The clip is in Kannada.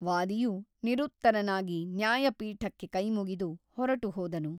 ವಾದಿಯು ನಿರುತ್ತರನಾಗಿ ನ್ಯಾಯಪೀಠಕ್ಕೆ ಕೈಮುಗಿದು ಹೊರಟುಹೋದನು.